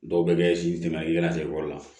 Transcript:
Dɔw bɛ kɛ la